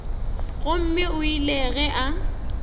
gomme o ile ge a